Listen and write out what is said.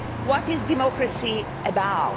What is democracy about?